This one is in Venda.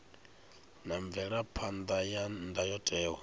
na mvelaphan ḓa ya ndayotewa